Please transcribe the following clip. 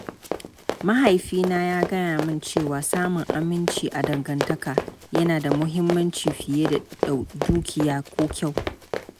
Mahaifina ya gaya min cewa samun aminci a dangantaka yana da muhimmanci fiye da dukiya ko kyau.